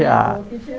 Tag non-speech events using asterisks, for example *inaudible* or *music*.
Já *unintelligible*